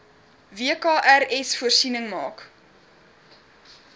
wkrs voorsiening maak